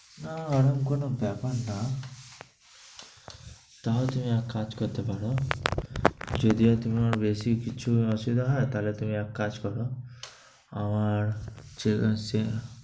না ওরকম কোনো ব্যাপার না। তাহলে এক কাজ করতে পারো, যদিও তুমি আমার বেশি কিছু অসুবিধা হয় তাহলে তুমি এক কাজ করো, আমার চে~